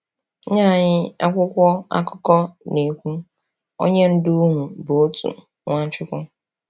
Nye anyị, akwụkwọ akụkọ na-ekwu: “Onye Ndu unu bụ otu, Nwachukwu.”